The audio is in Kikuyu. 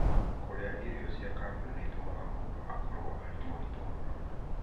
Kũrĩa irio cia kambuni nĩ gũtũmaga mũndũ akorũo arĩ mũritũ mũno.